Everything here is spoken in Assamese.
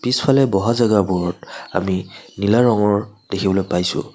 পিছফালে বহা জাগা বোৰত আমি নীলা ৰঙৰ দেখিবলৈ পাইছোঁ।